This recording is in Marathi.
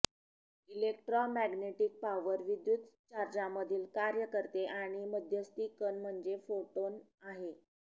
इलेक्ट्रोमॅग्नेटिक पॉवर विद्युत चार्जांमधील कार्य करते आणि मध्यस्थी कण म्हणजे फोटोन आहे